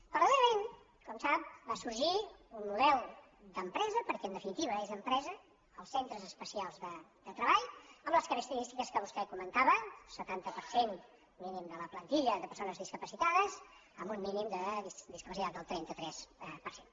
paral·lelament com sap va sorgir un model d’empre·sa perquè en definitiva són empresa els centres es·pecials de treball amb les característiques que vostè comentava setanta per cent mínim de la plantilla de perso·nes discapacitades amb un mínim de discapacitat del trenta tres per cent